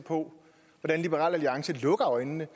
på hvordan liberal alliance lukker øjnene